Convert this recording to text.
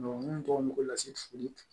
mun tɔgɔ mago la sefuli